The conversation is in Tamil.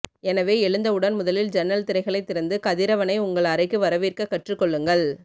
எனவே எழுந்தவுடன் முதலில் ஜன்னல் திரைகளை திறந்து கதிரவனை உங்கள் அறைக்கு வரவேற்க கற்றுக்கொள்ளுங்கள்